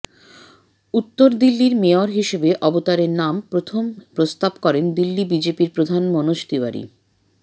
উত্তর দিল্লির মেয়র হিসেব অবতারের নাম প্রথম প্রস্তাব করেন দিল্লি বিজেপির প্রধান মনোজ তিওয়ারি